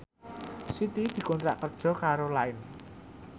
Siti dikontrak kerja karo Line